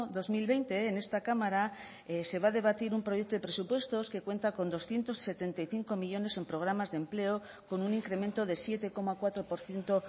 dos mil veinte en esta cámara se va a debatir un proyecto de presupuestos que cuenta con doscientos setenta y cinco millónes en programas de empleo con un incremento de siete coma cuatro por ciento